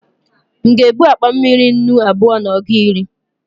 m'ga ebu akpa mmiri nnù abua na ọgu iri?